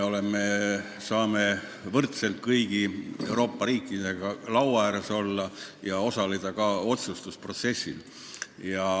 Me saame võrdselt kõigi Euroopa riikidega laua ääres olla ja osaleda ka otsustusprotsessis.